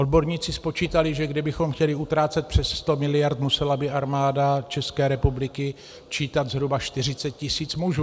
Odborníci spočítali, že kdybychom chtěli utrácet přes 100 miliard, musela by Armáda České republiky čítat zhruba 40 tisíc mužů.